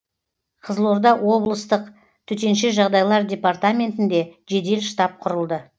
қызылорда облыстық төтенше жағдайлар департаментінде жедел штаб құрылды